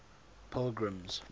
pilgrim's